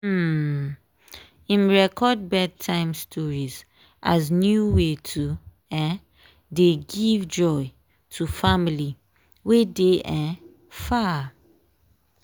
um im record bed time stories as new way to um dey give joy to family wey dey um far.